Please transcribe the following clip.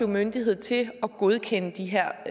myndighed til at godkende de her